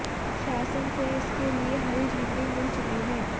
शासन से इसके लिए हरी झंडी मिल चुकी है